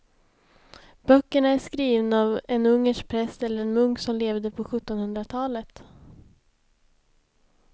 Böckerna är skrivna av en ungersk präst eller munk som levde på sjuttonhundratalet.